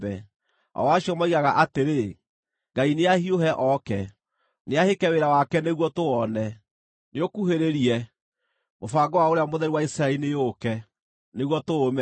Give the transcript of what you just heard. o acio moigaga atĩrĩ, “Ngai nĩahiũhe oke, nĩahĩke wĩra wake nĩguo tũwone. Nĩũkuhĩrĩrie, mũbango wa Ũrĩa Mũtheru wa Isiraeli nĩũũke, nĩguo tũũmenye.”